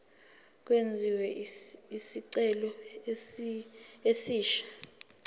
kwenziwe isicelo esisha